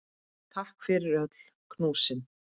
Takk fyrir öll knúsin.